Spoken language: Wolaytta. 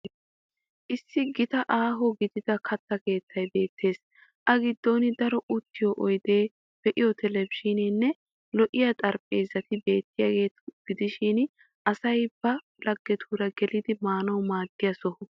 Issi gitanne Aho gidida katta keettaay beettes. A giddon daro uttiyo oydee be'iyoo televizhiineenne lo'iyaa xarapheezzati beettiyaageeta gidishin asay ba laggetuura gelididi maanawu maaddiya soho.